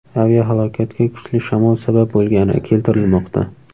Aviahalokatga kuchli shamol sabab bo‘lgani keltirilmoqda.